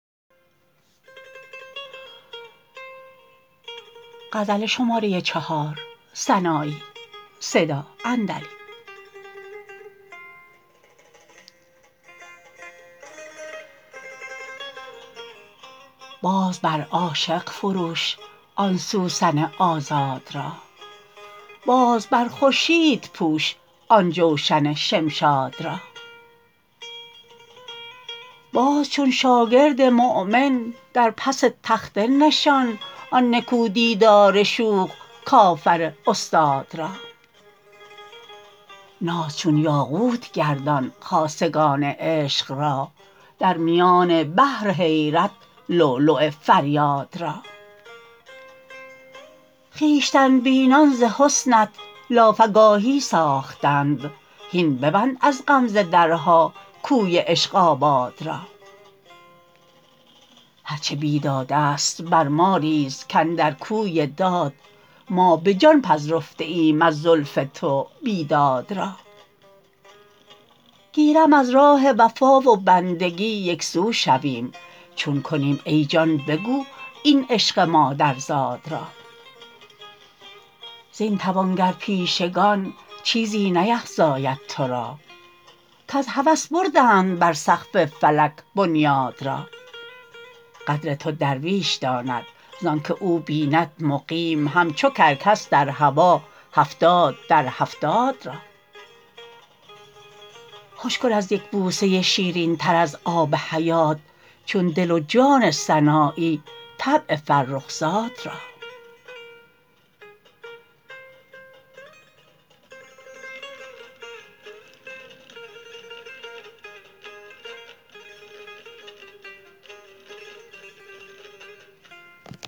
باز بر عاشق فروش آن سوسن آزاد را باز بر خورشید پوش آن جوشن شمشاد را باز چون شاگرد مومن در پس تخته نشان آن نکو دیدار شوخ کافر استاد را ناز چون یاقوت گردان خاصگان عشق را در میان بحر حیرت لولو فریاد را خویشتن بینان ز حسنت لافگاهی ساختند هین ببند از غمزه درها کوی عشق آباد را هر چه بیدادست بر ما ریز کاندر کوی داد ما به جان پذرفته ایم از زلف تو بیداد را گیرم از راه وفا و بندگی یک سو شویم چون کنیم ای جان بگو این عشق مادرزاد را زین توانگر پیشگان چیزی نیفزاید ترا کز هوس بردند بر سقف فلک بنیاد را قدر تو درویش داند ز آنکه او بیند مقیم همچو کرکس در هوا هفتاد در هفتاد را خوش کن از یک بوسه شیرین تر از آب حیات چو دل و جان سنایی طبع فرخ زاد را